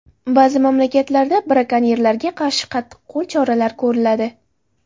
Ba’zi mamlakatlarda brakonyerlarga qarshi qattiqqo‘l choralar ko‘riladi.